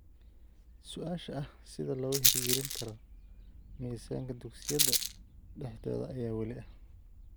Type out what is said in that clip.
Su'aasha ah sida looga hirgelin karo miisaanka dugsiyada dhexdooda ayaa weli ah.